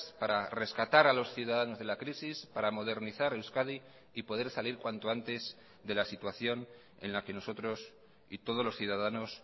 para rescatar a los ciudadanos de la crisis para modernizar euskadi y poder salir cuanto antes de la situación en la que nosotros y todos los ciudadanos